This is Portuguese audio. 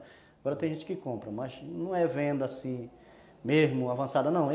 Agora tem gente que compra, mas não é venda assim, mesmo, avançada, não.